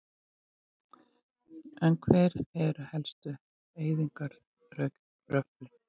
En hver eru helstu eyðingaröflin?